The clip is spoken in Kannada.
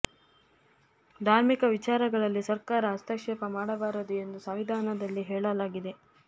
ಧಾರ್ಮಿಕ ವಿಚಾ ರಗಳಲ್ಲಿ ಸರ್ಕಾರ ಹಸ್ತಕ್ಷೇಪ ಮಾಡ ಬಾರದು ಎಂದು ಸಂವಿಧಾನದಲ್ಲಿ ಹೇಳ ಲಾಗಿದೆ